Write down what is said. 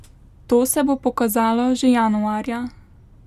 To se bo pokazalo že januarja.